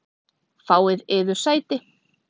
Fáið yður sæti.